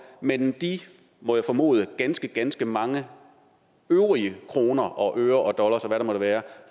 men de må jeg formode ganske ganske mange øvrige kroner og øre og dollars og hvad det måtte være